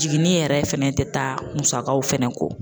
Jiginin yɛrɛ fɛnɛ tɛ taa musakaw fɛnɛ kɔ